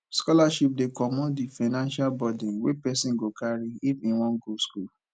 scholarship dey comot di financial buden wey person go carry if im wan go school